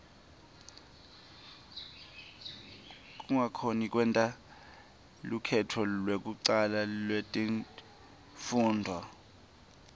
kungakhoni kwenta lukhetfo lekucala letifundvo